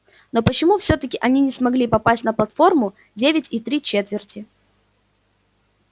но почему всё-таки они не смогли попасть на платформу девять и три четверти